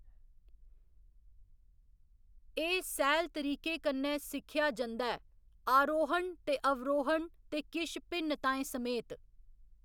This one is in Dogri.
एह्‌‌ सैह्‌ल तरीके कन्नै सिक्खेआ जंदा ऐ आरोहण ते अवरोहण ते किश भिन्नताएं समेत।